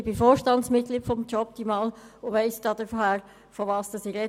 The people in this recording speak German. Ich bin Vorstandsmitglied von «Jobtimal» und weiss daher, wovon ich rede.